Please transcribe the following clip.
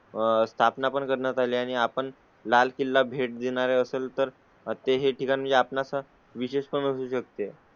आह स्थापना पण करण्यात आले आणि आपण लाल किल्ला भेट देणारे असेल तर ते हे ठिकाणी आपण असा विचार करू शकते.